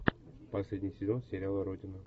последний сезон сериала родина